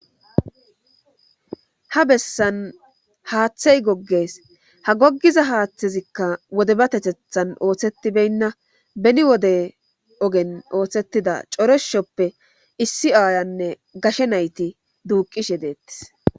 Ha bessan haaththey goggees ha gogiza haaththezikka wodebatethethan ooththetibenna beni wode ogen oothtshettida coreshoppe issi aayanne gashe nayti duuqishe deettis.